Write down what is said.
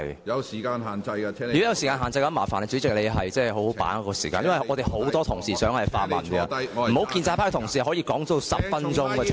如果有時間限制，請主席好好把握時間，因為很多同事也想發問，不應容許一名建制派同事的質詢時間長達10分鐘。